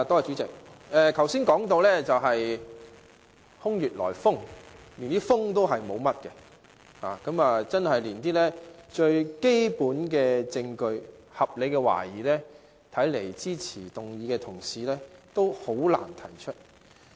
主席，剛才提到空穴來風，其實也沒有甚麼風，看來支持議案的同事連最基本的證據及合理懷疑也難以提出。